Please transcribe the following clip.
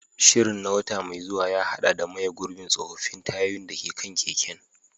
Shirin na wata mai zuwa ya haɗa da maye gurbin tsofaffin tayoyin da ke kan keken.